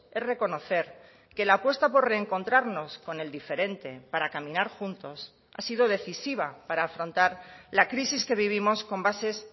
es reconocer que la apuesta por reencontrarnos con el diferente para caminar juntos ha sido decisiva para afrontar la crisis que vivimos con bases